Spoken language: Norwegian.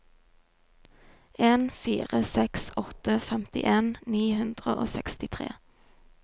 en fire seks åtte femtien ni hundre og sekstitre